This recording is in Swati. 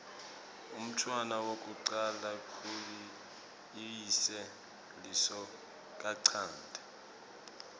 umntfwana wekucala kuyise lisokanchanti